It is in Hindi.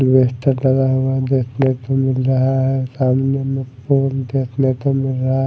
अल्वेस्टर लगा हुआ देखने को मिल रहा है सामने में फूल देखने को मिल रहा--